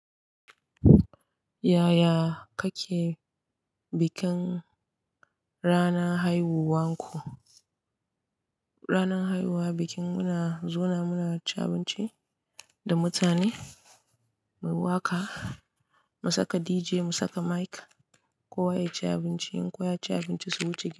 Yaya kake bikin ranar haihuwa ku? Ranar haihuwa bikin muna zauna muna cin abinci da mutane, mu yi waƙa, mu saka dj, mu saka mic, kowa ya ci abinci. In kowa ya ci abinci su wuce gida.